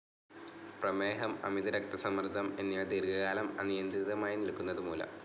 പ്രമേഹം, അമിതരക്തസമ്മർദ്ദം എന്നിവ ദീർഘ കാലം അനിയന്ത്രിതമായി നിൽക്കുന്നതു മൂലം.